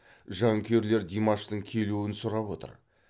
жанкүйерлер димаштың келуін сұрап отыр